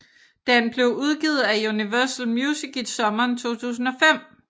Den blev udgivet af Universal Music i sommeren 2005